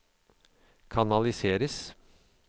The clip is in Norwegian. kanaliseres